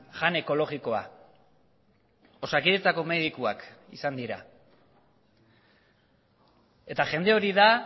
jan ekologikoa osakidetzako medikuak izan dira eta jende hori da